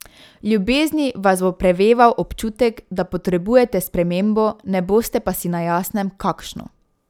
V ljubezni vas bo preveval občutek, da potrebujete spremembo, ne boste pa si na jasnem, kakšno.